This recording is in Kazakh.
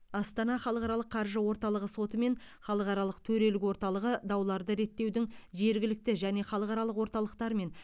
астана халықаралық қаржы орталығы соты мен халықаралық төрелік орталығы дауларды реттеудің жергілікті және халықаралық орталықтарымен